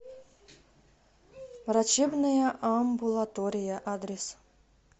врачебная амбулатория адрес